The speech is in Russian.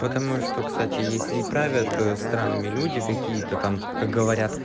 потому что кстати если не правят странами люди какие-то там как говорят